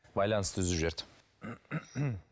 байланысты үзіп жіберді